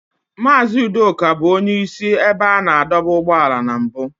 Mazị Udoka bụ onye isi ebe a na-adọba ụgbọala na mbụ.